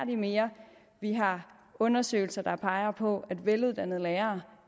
de mere vi har undersøgelser der peger på at veluddannede lærere